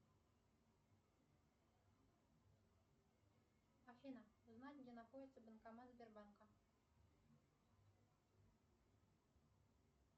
афина узнать где находится банкомат сбербанка